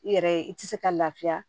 I yɛrɛ i ti se ka lafiya